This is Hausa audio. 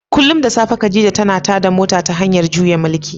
Kullum da safe khadija tana tada mota ta hanyar juya mukulli.